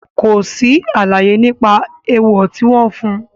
Kò sí àlàyé nípa èèwọ̀ tí wọ́n fún.